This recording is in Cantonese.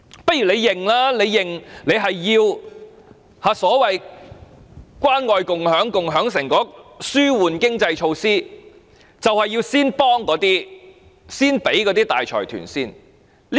不如政府承認其關愛共享計劃、共享成果措施和紓緩經濟措施便是要先幫助大財團。